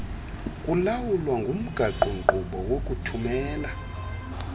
kulawulwa ngumgaqonkqubo wokuthumela